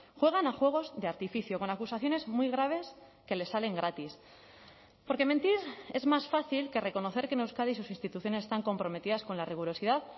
juegan a juegos de artificio con acusaciones muy graves que les salen gratis porque mentir es más fácil que reconocer que en euskadi sus instituciones están comprometidas con la rigurosidad